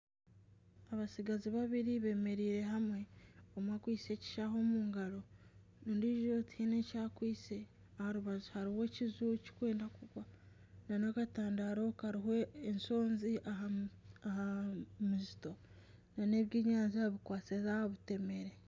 Abatsigazi beemereire hamwe bakwitse ekishaho omu ngaro, ondiijo tihaine eki akwitse, aha rubaju hariho ekiju kirikwenda kugwa, nana akatandaaro kariho enshonzi aha muzito nana ebyenyanja bikwatsize aha butemere